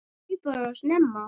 Hann flaug bara of snemma.